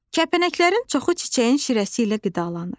Kəpənəklərin çoxu çiçəyin şirəsi ilə qidalanır.